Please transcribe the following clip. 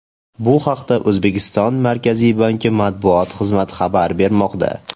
Bu haqda O‘zbekiston Markaziy banki matbuot xizmati xabar bermoqda .